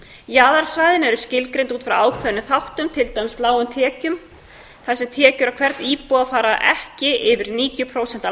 jaðarsvæðin eru skilgreind út frá ákveðnum þáttum til dæmis lágum tekjum þar sem tekjur á hvern íbúa fara ekki yfir níutíu prósent af